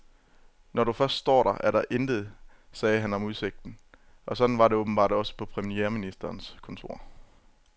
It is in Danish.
Når du først står der, er der intet, sagde han om udsigten, og sådan var det åbenbart også på premierministerens kontor.